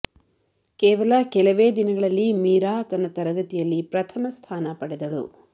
ಕೇವಲ ಕೆಲವೇ ದಿನಗಳಲ್ಲಿ ಮೀರಾ ತನ್ನ ತರಗತಿಯಲ್ಲಿ ಪ್ರಥಮ ಸ್ಥಾನ ಪಡೆದಳು